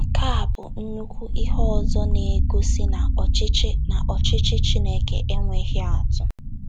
Nke a bụ nnukwu ihe ọzọ na - egosi na ọchịchị na ọchịchị Chineke enweghị atụ.